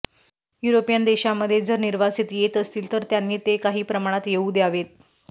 European देशांमध्ये जर निर्वासित येत असतील तर त्यांनी ते काही प्रमाणात येऊ द्यावेत